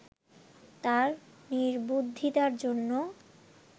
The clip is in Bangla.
তার নির্বুদ্ধিতার জন্য